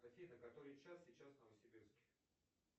афина который час сейчас в новосибирске